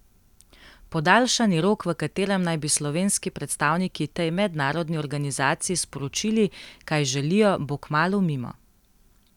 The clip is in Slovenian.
Podaljšani rok, v katerem naj bi slovenski predstavniki tej mednarodni organizaciji sporočili, kaj želijo, bo kmalu mimo.